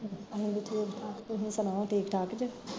ਅਸੀਂ ਵੀ ਠੀਕ ਠਾਕ, ਤੁਸੀਂ ਸੁਣਾਓ ਠੀਕ ਠਾਕ ਜੇ